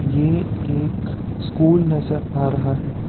ये एक स्कूल नजर आ रहा है।